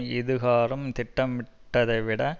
இதுகாறும் திட்டமிட்டதை விட